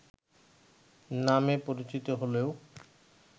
নামে পরিচিত হলেও